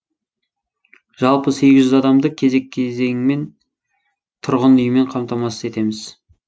жалпы сегіз жүз адамды кезек кезеңімен тұрғын үймен қамтамасыз етеміз